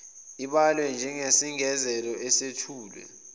ibalwe njengesengezelo esethulwe